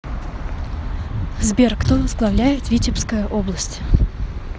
сбер кто возглавляет витебская область